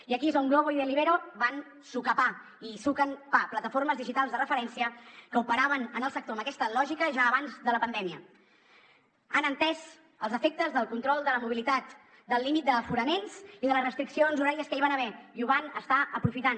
i aquí és on glovo i deliveroo van sucar pa i hi suquen pa plataformes digitals de referència que operaven en el sector amb aquesta lògica ja abans de la pandèmia han entès els efectes del control de la mobilitat del límit d’aforaments i de les restriccions horàries que hi van haver i ho van estar aprofitant